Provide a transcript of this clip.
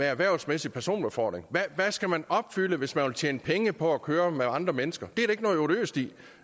erhvervsmæssig personbefordring hvad skal man opfylde hvis man vil tjene penge på at køre med andre mennesker det er der ikke noget odiøst i